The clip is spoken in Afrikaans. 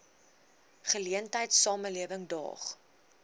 geleentheid samelewing daag